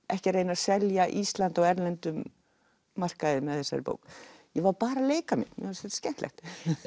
ekki að reyna að selja Ísland á erlendum markaði með þessari bók ég var bara að leika mér mér fannst þetta skemmtilegt